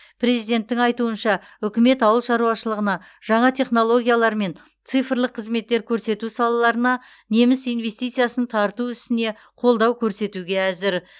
президенттің айтуынша үкімет ауыл шаруашылығына жаңа технологиялар мен цифрлық қызметтер көрсету салаларына неміс инвестициясын тарту ісіне қолдау көрсетуге әзір